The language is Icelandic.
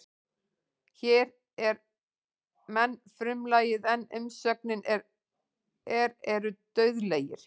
Hér er menn frumlagið en umsögnin er eru dauðlegir.